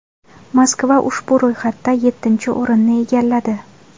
Moskva ushbu ro‘yxatda yettinchi o‘rinni egalladi.